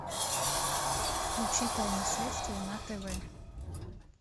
включи тайны следствия на тв